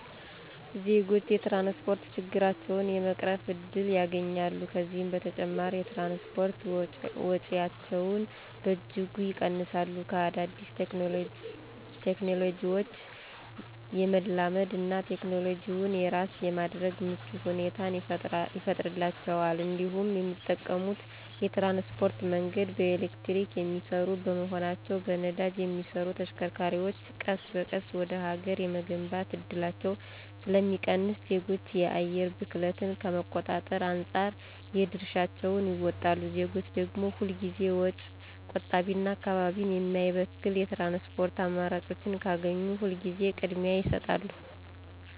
ዜጎች የትራንስፖርት ችግራቸውን የመቅረፍ እድል ያገኛሉ፤ ከዚህም በተጨማሪ የትራንስፖርት ወጪያቸውን በእጅጉ ይቀንሳሉ፤ ከአዳዲስ ቴክኖሎጂዎች የመላመድ እና ቴክኖሎጂውን የራስ የማድረግ ምቹ ሁኔታን ይፈጥርላቸዋል እንዲሁም የሚጠቀሙት የትራንስፖርት መንገድ በኤሌክትሪክ የሚሰሩ በመሆናቸው በነዳጅ የሚሰሩ ተሽከርካሪዎች ቀስ በቀስ ወደ ሀገር የመግባት እድላቸው ስለሚቀንስ ዜጎች የአየር ብክለትን ከመቆጣጠር አንፃር የድርሻቸውን ይወጣሉ። ዜጎች ደግም ሁል ጊዜ ወጪ ቆጣቢና አካባቢን የማይበክል የትራንስፖርት አማራጮችን ካገኙ ሁል ጊዜ ቅድሚያ ይሰጣሉ።